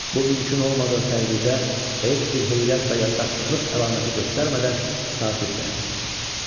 Bu mümkün olmadığı təqdirdə heç bir heyrət və yaddaşsızlıq əlaməti göstərmədən sakit dayansın.